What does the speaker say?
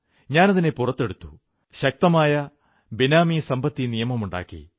ഞാനതിനെ പുറത്തെടുത്തു ശക്തമായ ബേനാമീ സമ്പത്തി നിയമം ഉണ്ടാക്കി